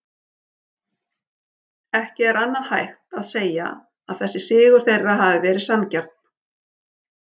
Ekki annað en hægt að segja að þessi sigur þeirra hafi verið sanngjarn.